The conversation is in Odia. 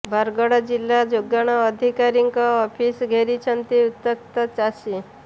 ବରଗଡ଼ ଜିଲ୍ଲା ଯୋଗାଣ ଅଧିକାରୀଙ୍କ ଅଫିସ ଘେରିଛନ୍ତି ଉତ୍ତ୍ୟକ୍ତ ଚାଷୀ